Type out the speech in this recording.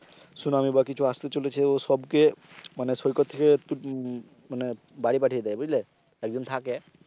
tsunami বা কিছু আস্তে চলেছে ও সবকে মানে সৌকত থেকে উম উম মানে বাড়ি পাঠিয়ে দেয় বুঝলে একজন থাকে